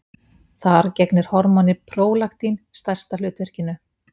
Þar gegnir hormónið prólaktín stærsta hlutverkinu.